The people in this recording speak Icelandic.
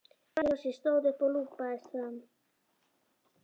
Benni fór allur hjá sér, stóð upp og lúpaðist fram.